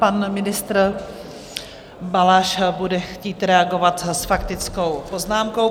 Pan ministr Balaš bude chtít reagovat s faktickou poznámkou.